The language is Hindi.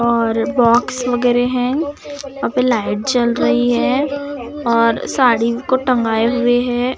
और बॉक्स वगैरे है वहां पे लाइट जल रही है और साड़ी को टंगाए हुए हैं।